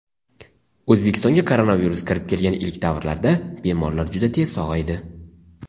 O‘zbekistonga koronavirus kirib kelgan ilk davrlarda bemorlar juda tez sog‘aydi.